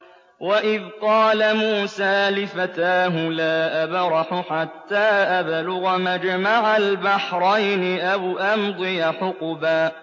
وَإِذْ قَالَ مُوسَىٰ لِفَتَاهُ لَا أَبْرَحُ حَتَّىٰ أَبْلُغَ مَجْمَعَ الْبَحْرَيْنِ أَوْ أَمْضِيَ حُقُبًا